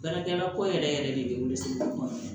Baarakɛla ko yɛrɛ yɛrɛ de bolo sigi kuma